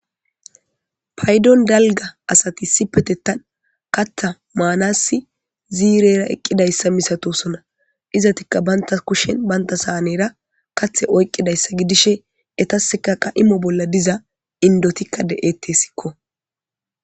Paydon dalga asati si petettan katha maanassi ziirera eqqidayssa misatosona izatikka banta kushen banta saanera kathe oyqqidayssa gidishe etaseka qa imo bolla diza indotikka de'ettessikko.